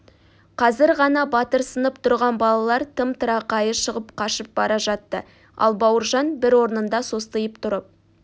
қазір ғана батырсынып тұрған балалар тым-тырақайы шығып қашып бара жатты ал бауыржан бір орнында состиып тұрып